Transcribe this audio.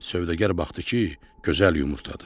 Sövdəgar baxdı ki, gözəl yumurtadır.